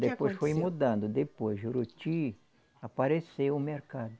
Que aconteceu? Depois foi mudando, depois Juruti apareceu um mercado.